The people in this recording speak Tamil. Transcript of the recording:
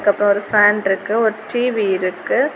அப்ரோ ஒரு ஃபேன் இருக்கு ஒரு டி_வி இருக்கு.